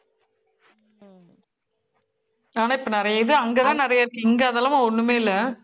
ஆனா, இப்ப நிறைய இது அங்கதான் நிறைய இருக்கு. இங்க அதெல்லாம் ஒண்ணுமே இல்லை